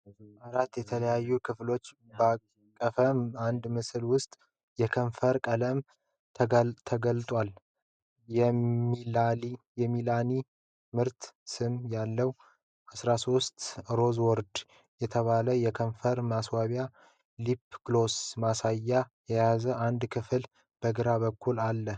አራት የተለያዩ ክፍሎችን ባቀፈ አንድ ምስል ውስጥ የከንፈር ቀለም ተጋልጧል። የ"ሚላኒ" የምርት ስም ያለው '13 Rosewood' የተባለው የከንፈር ማስዋቢያ (lip gloss) ማሳያ የያዘ አንድ ክፍል በግራ በኩል አለ።